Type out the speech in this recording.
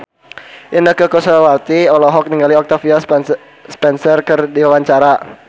Inneke Koesherawati olohok ningali Octavia Spencer keur diwawancara